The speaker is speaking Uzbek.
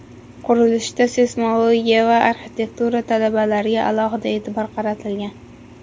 Qurilishda seysmologiya va arxitektura talablariga alohida e’tibor qaratilgan.